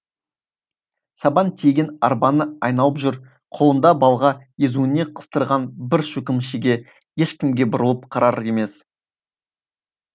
сабан тиеген арбаны айналып жүр қолында балға езуіне қыстырған бір шөкім шеге ешкімге бұрылып қарар емес